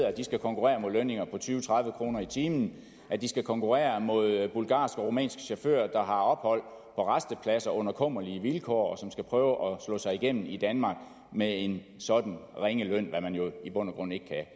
at de skal konkurrere mod lønninger på tyve til tredive kroner i timen at de skal konkurrere mod bulgarske og rumænske chauffører der har ophold på rastepladser under kummerlige vilkår og at slå sig igennem i danmark med en sådan ringe løn hvad man jo i bund og grund ikke kan